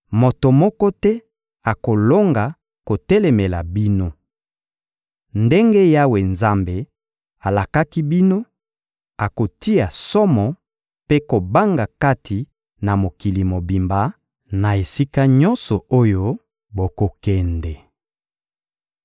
Moto moko te akolonga kotelemela bino. Ndenge Yawe Nzambe alakaki bino, akotia somo mpe kobanga kati na mokili mobimba, na esika nyonso oyo bokokende.